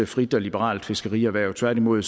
frit og liberalt fiskerierhverv tværtimod